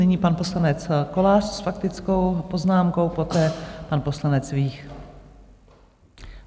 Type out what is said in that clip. Nyní pan poslanec Kolář s faktickou poznámkou, poté pan poslanec Vích.